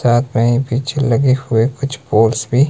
चारपाई पीछे लगे हुए कुछ बोर्ड्स भी--